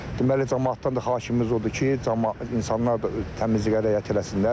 Deməli camaatdan da xahişimiz odur ki, insanlar da təmizliyə riayət eləsinlər.